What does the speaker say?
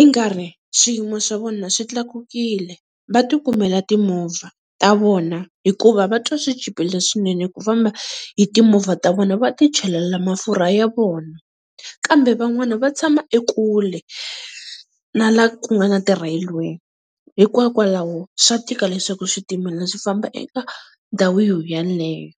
i nga ri swiyimo swa vona swi tlakukile. Va ti kumela timovha ta vona hikuva va twa swi chipile swinene ku famba hi timovha ta vona va ti chelela mafurha ya vona. Kambe van'wani va tshama ekule na la ku nga na ti-railway, hikokwalaho swa tika leswaku switimela swi famba eka ndhawini yoyaleyo.